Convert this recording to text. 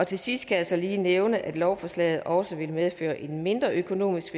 til sidst kan jeg så lige nævne at lovforslaget også vil medføre en mindre økonomisk